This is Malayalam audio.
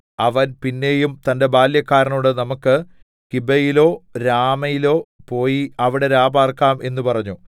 അവൻ പിന്നെയും തന്റെ ബാല്യക്കാരനോട് നമുക്ക് ഗിബെയയിലോ രാമയിലോ പോയി അവിടെ രാപാർക്കാം എന്ന് പറഞ്ഞു